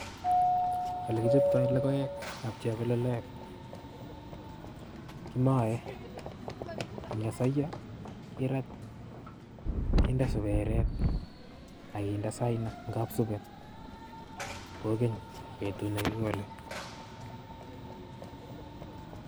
Olokichobtoi logoek ap chebololet Kimae, ang'nyasaiyo kerat, keende subeeret agende saaina kabsuben koogeny' beetut nekigoole